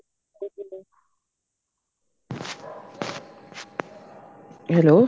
hello